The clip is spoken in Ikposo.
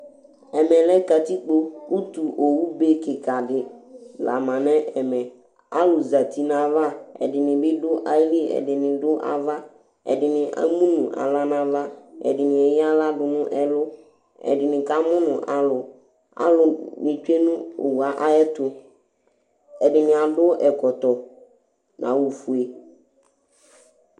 Ɛmɛlɛ lɛ katikpo Ʋtu owu be kìka ɖi la ma ŋu ɛmɛ Alu zɛti ŋu ayʋ ava Ɛɖìní bi ɖʋ ayìlí Ɛɖìní ɖu ava Ɛɖìní ɛmu ŋu aɣla ŋu ava Ɛɖìní eya aɣla ɖu ŋu ɛlu Ɛɖìní kamʋnu alu Aluni tsʋe ŋu owue ayʋɛtu Ɛɖìní aɖu ɛkɔtɔ ŋu awu fʋe